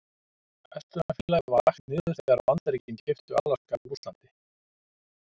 Verslunarfélagið var lagt niður þegar Bandaríkin keyptu Alaska af Rússlandi.